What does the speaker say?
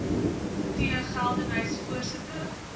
t geldenhuys voorsitter